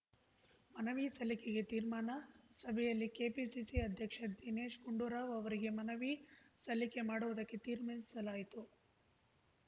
ಮನವಿ ಸಲ್ಲಿಕೆಗೆ ತೀರ್ಮಾನ ಸಭೆಯಲ್ಲಿ ಕೆಪಿಸಿಸಿ ಅಧ್ಯಕ್ಷ ದಿನೇಶ್‌ ಗುಂಡೂರಾವ್‌ ಅವರಿಗೆ ಮನವಿ ಸಲ್ಲಿಕೆ ಮಾಡುವುದಕ್ಕೆ ತೀರ್ಮಾನಿಸಲಾಯಿತು